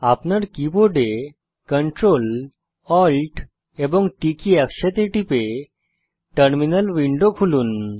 আপনার keyboard Ctrl Alt এবং T একসাথে টিপে টার্মিনাল উইন্ডো খুলুন